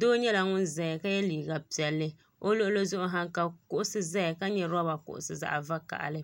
doo nyɛla ŋun ʒɛya ka yɛ liiga piɛli o luɣuli zuɣu ha ka kuɣusi ʒɛya ka nyɛ roba kuɣusi zaɣ vakaɣali